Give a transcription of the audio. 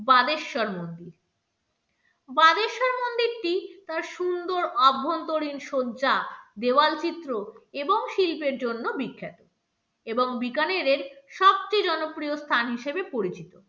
বানেশ্বর মন্দির বানেশ্বর মন্দিরটি তার সুন্দর আভ্যন্তরীণ শয্যা দেওয়ালচিত্র এবং শিল্পের জন্য বিখ্যাত এবং বিকানেরের সবচেয়ে জনপ্রিয় স্থান হিসেবে পরিচিত।